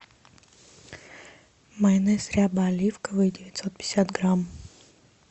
майонез ряба оливковый девятьсот пятьдесят грамм